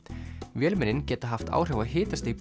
vélmennin geta haft áhrif á hitastig